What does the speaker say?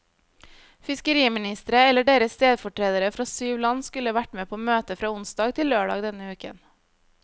Fiskeriministre eller deres stedfortredere fra syv land skulle vært med på møtet fra onsdag til lørdag denne uken.